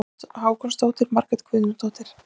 Hákonardóttir og Margrét Guðnadóttir.